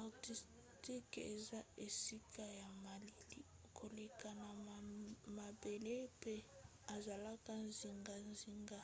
antarctique eza esika ya malili koleka na mabele mpe ezalaka zingazinga